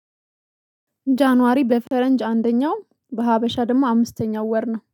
ጃንዋሪ በፈረንጅ አንደኛው በሀበሻ ደግሞ አምስተኛው ወር ነው